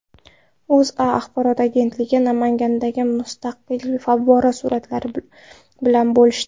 O‘zA axborot agentligi Namangandagi musiqali favvora suratlari bilan bo‘lishdi .